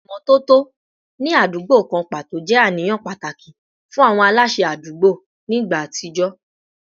Ìmọ́tótó ní àdúgbò kan pàtó jẹ́ àníyàn pàtàkì fún àwọn aláṣẹ àdúgbò ní ìgbà àtijọ́